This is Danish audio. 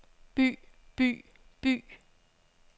by by by